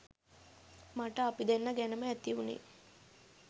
මට අපි දෙන්නා ගැනම ඇති වුණේ